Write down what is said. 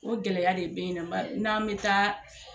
O gɛlɛya de bɛ ye n'an bɛ taa